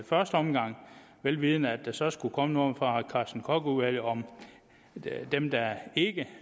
første omgang vel vidende at der så skulle komme noget fra carsten koch udvalget om dem der ikke